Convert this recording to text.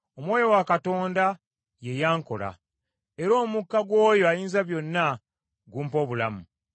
Omwoyo wa Katonda ye yankola, era omukka gw’oyo Ayinzabyonna gumpa obulamu.